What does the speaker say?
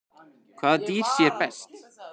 Hvaða dýr sér best?